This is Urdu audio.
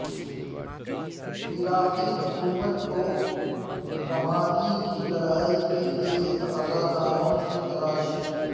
عراقی حکومت کو رمادی کی لڑائی کے لیے رضاکاروں کی تلاش